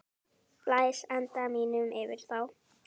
Blæs anda mínum yfir þá.